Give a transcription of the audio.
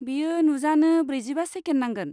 बेयो नुजानो ब्रैजिबा सेकेन्द नांगोन।